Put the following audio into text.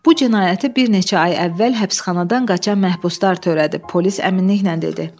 Bu cinayəti bir neçə ay əvvəl həbsxanadan qaçan məhbuslar törədib, polis əminliklə dedi.